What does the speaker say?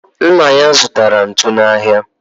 Nna ya zụtara ntu n'ahịa